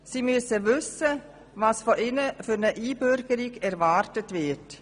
Sie müssen wissen, was von ihnen für eine Einbürgerung erwartet wird.